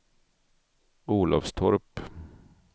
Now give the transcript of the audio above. Olofstorp